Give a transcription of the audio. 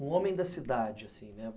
um homem da cidade, assim, né.